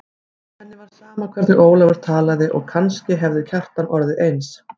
Henni var sama hvernig Ólafur talaði og kannski hefði Kjartan orðið eins.